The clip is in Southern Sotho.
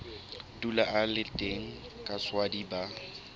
dula a le teng kaswadi ba